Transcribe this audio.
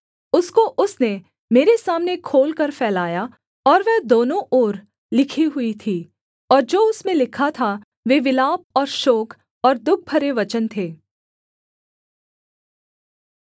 उसको उसने मेरे सामने खोलकर फैलाया और वह दोनों ओर लिखी हुई थी और जो उसमें लिखा था वे विलाप और शोक और दुःख भरे वचन थे